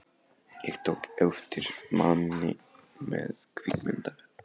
Ég tók eftir manni með kvikmyndavél.